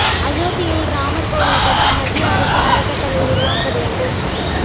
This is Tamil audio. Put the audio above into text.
அயோத்தியில் ராமர் கோவில் கட்ட மத்திய அரசு அறக்கட்டளை உருவாக்க வேண்டும்